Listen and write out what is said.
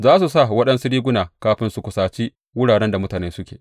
Za su sa waɗansu riguna kafin su kusaci wuraren da mutane suke.